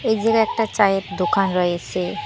এইদিকে একটা চায়ের দোকান রয়েসে।